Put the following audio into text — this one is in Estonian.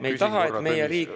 Üks hetk!